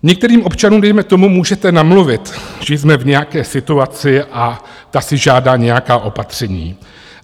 Některým občanům dejme tomu můžete namluvit, že jsme v nějaké situaci a ta si žádá nějaká opatření.